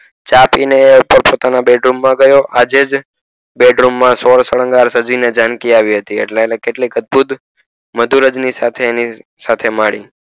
ચા પીય ને એપોતાનો ના bed room ગયો આજે જ bed room માં સોલસંગર સાજી ને જાનકી આવી હતી એટલે એટલાતેને અધભૂત સાથે મણિ